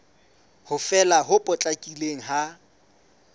ho fela ho potlakileng ha